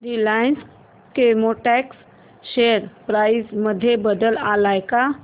Reliance Chemotex share price मध्ये बदल आलाय का